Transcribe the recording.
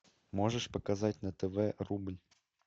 можешь показать на тв рубль